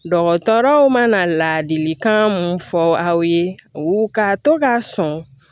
Dɔgɔtɔrɔw mana ladilikan mun fɔ aw ye ka to k'a sɔn